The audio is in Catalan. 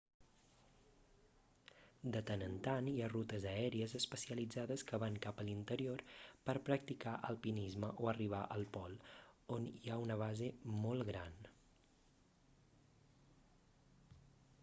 de tant en tant hi ha rutes aèries especialitzades que van cap a l'interior per practicar alpinisme o arribar al pol on hi ha una base molt gran